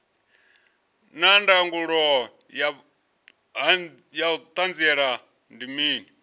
naa ndangulo ya hanziela ndi mini